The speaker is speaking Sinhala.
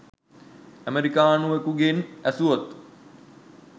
අමෙරිකානුවෙකුගෙන් ඇසුවොත්